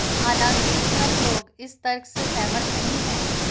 हालांकि सब लोग इस तर्क से सहमत नहीं हैं